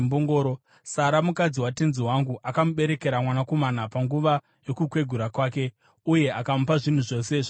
Sara mukadzi watenzi wangu akamuberekera mwanakomana panguva yokukwegura kwake, uye akamupa zvinhu zvose zvaanazvo.